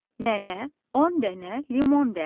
Nənə on dənə limon dərdi.